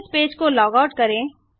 अब इस पेज को लॉग आउट करें